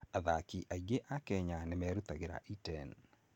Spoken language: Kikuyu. Athaki aingĩ a Kenya nĩ merutagĩra Iten.